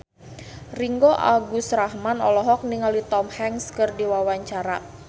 Ringgo Agus Rahman olohok ningali Tom Hanks keur diwawancara